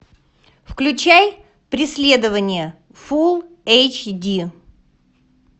включай преследование фул эйч ди